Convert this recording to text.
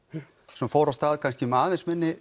sem fór af stað kannski með aðeins minni